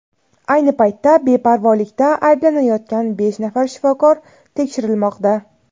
ayni paytda beparvolikda ayblanayotgan besh nafar shifokor tekshirilmoqda.